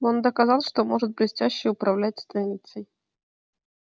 он доказал что может блестяще управлять станцией